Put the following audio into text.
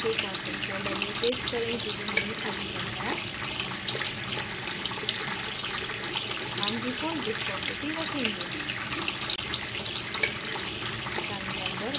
इसे cylinder के constant folder में paste करें जिसे हमने अभी बनाया हम default viscosity रखेंगे